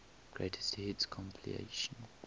greatest hits compilation